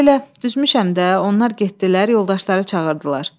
Elə-belə düzmüşəm də, onlar getdilər, yoldaşları çağırdılar.